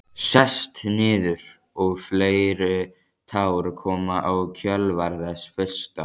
Sest niður og fleiri tár koma í kjölfar þess fyrsta.